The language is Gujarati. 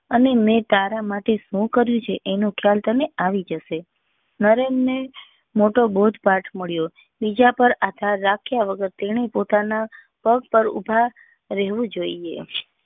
અને મેં તારા માટે શું કર્યું છે એનો ખ્યાલ તને આવી જશે નરેન ને મોટો બોજ પાઠ મળ્યો બીજા પર આધાર રાખ્યા વગર તેને પોતાના પગ પર ઉભું રહેવું જોઈએ